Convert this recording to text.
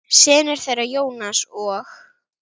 Synir þeirra, Jónas og